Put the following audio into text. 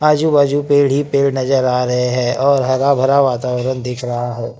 आजू बाजू पेड़ ही पेड़ नजर आ रहे हैं और हरा भरा वातावरण दिख रहा है।